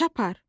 Çapar.